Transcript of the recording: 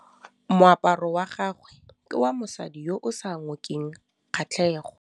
Moaparô wa gagwe ke wa mosadi yo o sa ngôkeng kgatlhegô.